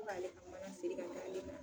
Ko k'ale ka mana siri k'a d'ale ma.